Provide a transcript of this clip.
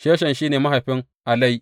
Sheshan shi ne mahaifin Alai.